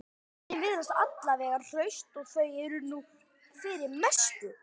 Börnin virðast alla vega hraust og það er nú fyrir mestu